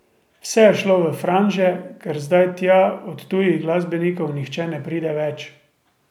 Vse je šlo v franže, ker zdaj tja od tujih glasbenikov nihče ne pride več.